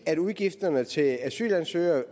at udgifterne til asylansøgere